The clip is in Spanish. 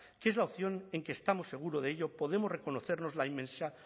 que es la opción en que estamos seguros de ello podemos reconocernos la inmensa